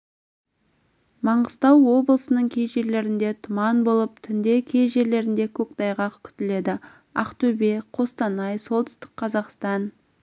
маңғыстау облысының кей жерлерінде тұман болып түнде кей жерлерінде көктайғақ күтіледі ақтөбе қостанай солтүстік қазақстан